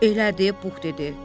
Elədi, Puh dedi.